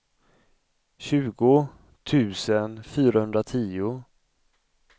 tjugo tusen fyrahundratio